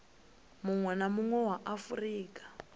munwe na munwe wa afurika